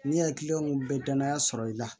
Ni hakiliw bɛ danaya sɔrɔ i la